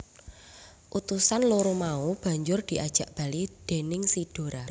Utusan loro mau banjur diajak bali déning si Dora